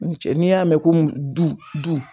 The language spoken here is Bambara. N cɛ n'i y'a mɛn ko du